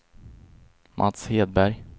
Mats Hedberg